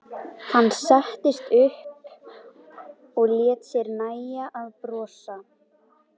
Hann settist upp og lét sér nægja að brosa.